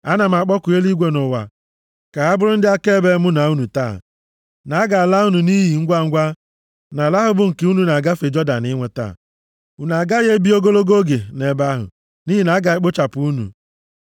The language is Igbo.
ana m akpọku eluigwe na ụwa ka ha bụrụ ndị akaebe mụ na unu taa, na a ga-ala unu nʼiyi ngwangwa nʼala ahụ bụ nke unu na-agafe Jọdan inweta. Unu agaghị ebi ogologo oge nʼebe ahụ, nʼihi na a ga-ekpochapụ unu.